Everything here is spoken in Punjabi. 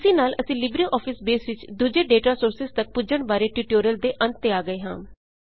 ਇਸੀ ਨਾਲ ਅਸੀਂ ਲਿਬ੍ਰੇ ਆਫ਼ਿਜ਼ ਬੇਸ ਵਿੱਚ ਦੂਜੇ ਡੇਟਾ ਸੋਰਸਿਜ਼ ਤੱਕ ਪੁੱਜਣ ਬਾਰੇ ਟਿਊਟੋਰੀਅਲ ਦੇ ਅੰਤ ਤੇ ਆ ਗਏ ਹਾਂ